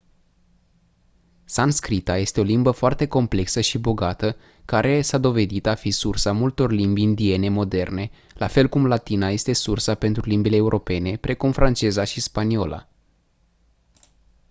sanscrita este o limbă foarte complexă și bogată care a s-a dovedit a fi sursa multor limbi indiene moderne la fel cum latina este sursa pentru limbile europene precum franceza și spaniola